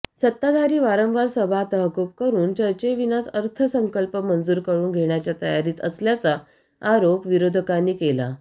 सत्ताधारी वारंवार सभा तहकूब करून चर्चेविनाच अर्थसंकल्प मंजूर करून घेण्याच्या तयारीत असल्याचा आरोप विरोधकांनी केला